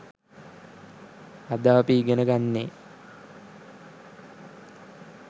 අද අපි ඉගෙන ගන්නේ